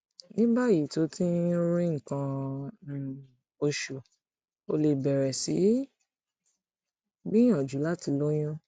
ní báyìí tó o ti ń rí nǹkan um oṣù o lè bẹrẹ sí gbìyànjú láti lóyún